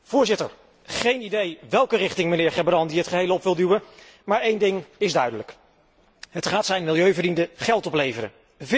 Voorzitter, geen idee welke richting meneer Gerbrandy het geheel op wil duwen, maar een ding is duidelijk het gaat zijn milieuvrienden geld opleveren.